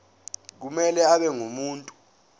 kumele abe ngumuntu